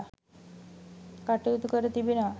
කටයුතු කර තිබෙනවා.